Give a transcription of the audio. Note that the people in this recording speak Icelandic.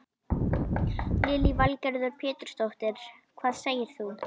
Lillý Valgerður Pétursdóttir: Hvað segir þú?